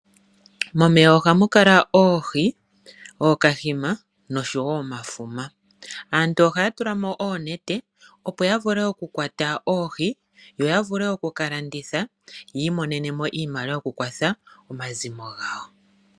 Momeya ohamu kala oohi, ookahima noshowo omafuma. Aantu ohaya tula mo oonete opo yavule okukwata oohi , yo yavule okukalanditha yiimonenemo iimaliwa yokukwatha omazimo gawo.